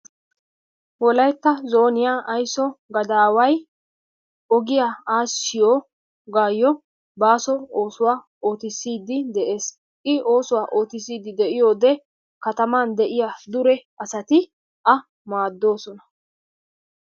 Wolaytta zooniya aysso gadaway ogiyaa aassiyoogayyo baaso oosuwaa ootiside de'ees. I oosuwaa oottiside de'iyoode katamman de'iyaa dure asati a maaddoosona.